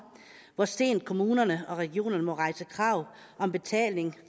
hvor sent kommunerne og regionerne må rejse krav om betaling